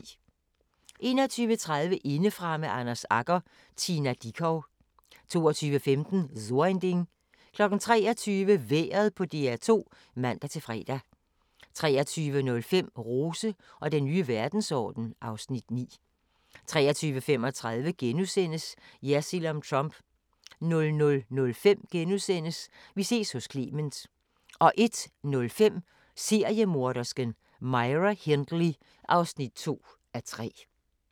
21:30: Indefra med Anders Agger - Tina Dickow 22:15: So ein Ding 23:00: Vejret på DR2 (man-fre) 23:05: Rose og den nye verdensorden (Afs. 9) 23:35: Jersild om Trump * 00:05: Vi ses hos Clement * 01:05: Seriemordersken: Myra Hindley (2:3)